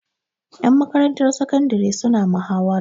Ƴan makarantar sakandare suna mahawara.